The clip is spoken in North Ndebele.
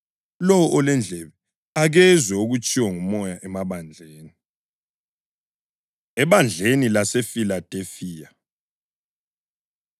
Lowo olendlebe, akezwe okutshiwo nguMoya emabandleni.” Ebandleni LaseFiladelifiya